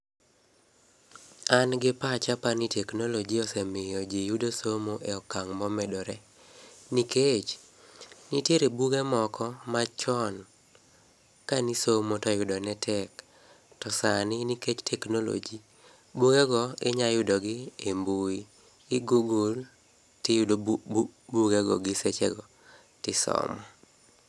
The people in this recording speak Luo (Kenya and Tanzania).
An gi pacha apani teknoloji osemiyo jii yudo somo e okang' momedore. Nikech, nitiere buge moko machon kanisomo to yudo ne tek. To sani nikech teknoloji bugego, inyayudogi e mbui. Igoogle ti yudo bu bu bugego giseche go tisomo.